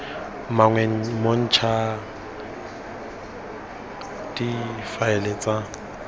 mangwe mo ncpa difaele tsa